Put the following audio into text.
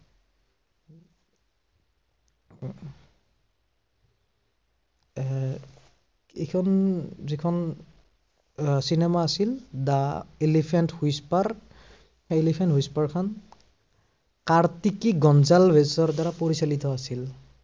এৰ এইখন যিখন আহ cinema আছিল। দ্য়া এলিফেন্ট হুইচপাৰ, সেই এলিফেন্ট হুইচপাৰখন কাৰ্টিকি গঞ্জালভচ ৰেচৰ দ্বাৰা পৰিচালিত আছিল।